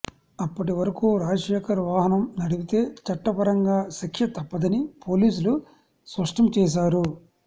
అప్పటి వరకు రాజశేఖర్ వాహనం నడిపితే చట్టపరంగా శిక్ష తప్పదని పోలీసులు స్పష్టం చేశారు